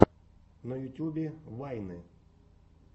на ютьюбе вайны